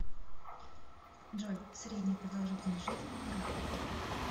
джой средняя продолжительность жизни в ирак